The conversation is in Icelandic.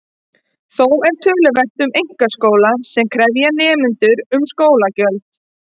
Þó er töluvert um einkaskóla sem krefja nemendur um skólagjöld.